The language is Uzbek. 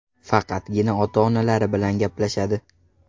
Faqatgina ota-onalari bilan gaplashadi.